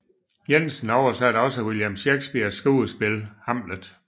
Jensen oversatte også William Shakespeares skuespil Hamlet